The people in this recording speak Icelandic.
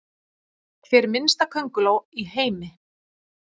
Hver minnsta könguló í heimi?